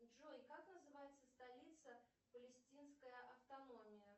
джой как называется столица палестинской автономии